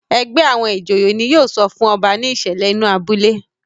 ègbé àwọn ìjòyè ní yóò sọfún ọba ní ìsèlè inú abúlé.